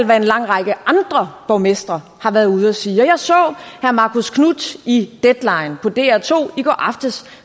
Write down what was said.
hvad en lang række andre borgmestre har været ude at sige jeg så herre marcus knuth i deadline på dr2 i går aftes